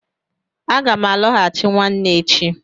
Aga m alọghachi nwanne echi.